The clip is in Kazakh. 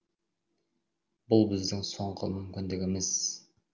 бұл біздің соңғы мүмкіндігіміз